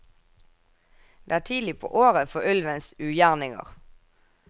Det er tidlig på året for ulvens ugjerninger.